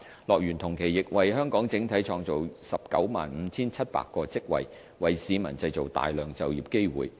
樂園同期亦為香港整體創造 195,700 個職位，為市民製造大量就業機會。